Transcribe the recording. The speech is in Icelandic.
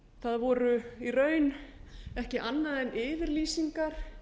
það voru í raun ekki annað en yfirlýsingar